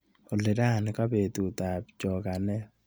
Olly, rani kabetut ab chokanet